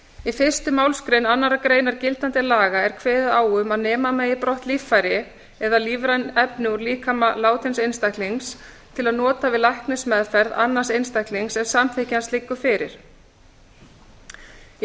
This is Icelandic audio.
í fyrstu málsgrein annarrar greinar gildandi laga er kveðið á um að nema megi brott líffæri eða lífræn efni úr líkama látins einstaklings til nota við læknismeðferð annars einstaklings ef samþykki hans liggur fyrir í